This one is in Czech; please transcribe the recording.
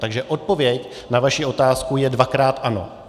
Takže odpověď na vaši otázku je dvakrát ano.